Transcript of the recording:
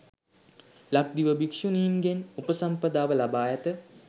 ලක්දිව භික්‍ෂුණීන්ගෙන් උපසම්පදාව ලබා ඇත